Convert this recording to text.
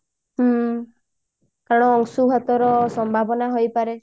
ହୁଁ କାରଣ ଅଂଶୁଘାତ ସମ୍ଭାବନା ହେଇପାରେ